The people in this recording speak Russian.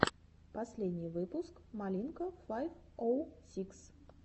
последний выпуск малинка файв оу сикс